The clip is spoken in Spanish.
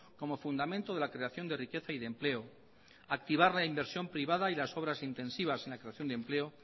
como fundamento de la creación de riqueza y de empleo activar la inversión privada y las obras intensivas en la creación de empleo